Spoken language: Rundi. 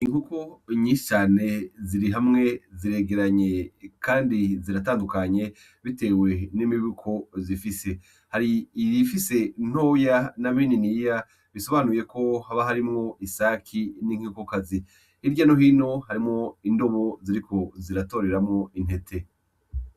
Inkoko nyinshi cane zirihamwe ziregeranye kandi ziratandukanye bitewe n'imibiko zifise hari iyifise ntoya na binini ya bisobanuyeko haba harimwo isake n'inkokokazi hirya no hino harimwo indobo ziriko ziratoreramwo intete.